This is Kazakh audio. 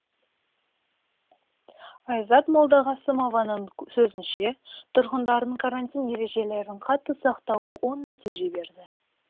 айзат молдағасымованың сөзінше тұрғындардың карантин ережелерін қатты сақтауы оң нәтиже берді